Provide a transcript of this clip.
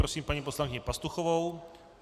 Prosím paní poslankyni Pastuchovou.